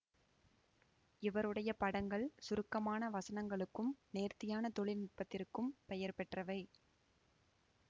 இவருடைய படங்கள் சுருக்கமான வசனங்களுக்கும் நேர்த்தியான தொழில்நுட்பத்திற்கும் பெயர் பெற்றவை